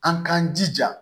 An k'an jija